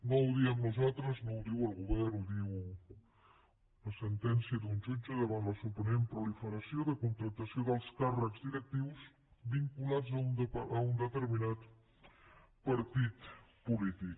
no ho diem nosaltres no ho diu el govern ho diu la sentència d’un jutge davant la sorprenent proliferació de contractació d’alts càrrecs directius vinculats a un determinat partit polític